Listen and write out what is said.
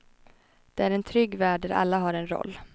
Det är en trygg värld där alla har en roll.